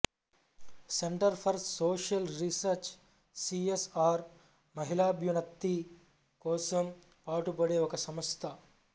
centre for social research C S R మహిళాభ్యున్నతి కోసం పాటుబడే ఒక సంస్థ